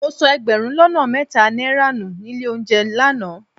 Mo sọ ẹgbẹ̀rún lọ́nà mẹ́ta náírà nù nílé olóunjẹ lánàá